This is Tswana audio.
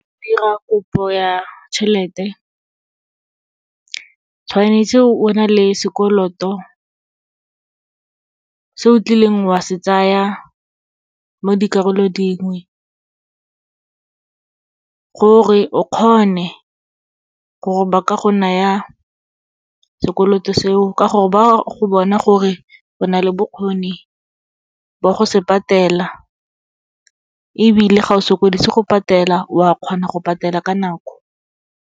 Dira kopo ya tšhelete, tshwanetse o bo na le sekoloto, se o tlileng wa se tsaya mo dikarolong dingwe, gore o kgone gore ba ka go naya sekoloto seo. Ka gore, ba go bona gore go na le bokgoni ba go se patela, ebile ga o sokodise go patela, wa kgona go patela ka nako.